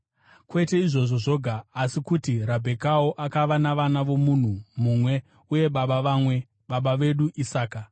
Kwete izvozvo zvoga, asi kuti naRabhekawo akava navana vomunhu mumwe uye baba vamwe, baba vedu Isaka.